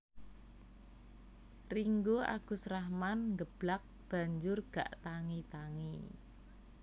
Ringgo Agus Rahman nggeblak banjur gak tangi tangi